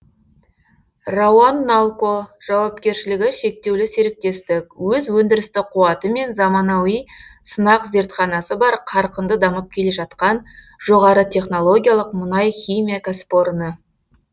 рауан налко жауапкершілігі шектеулі серіктестік өз өндірістік қуаты мен заманауи сынақ зертханасы бар қарқынды дамып келе жатқан жоғары технологиялық мұнай химия кәсіпорны